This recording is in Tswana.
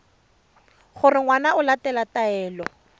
gore ngwana o latela taelo